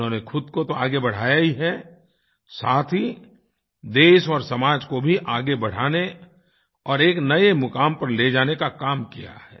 उन्होंने ख़ुद को तो आगे बढाया ही है साथ ही देश और समाज को भी आगे बढ़ाने और एक नए मुक़ाम पर ले जाने का काम किया है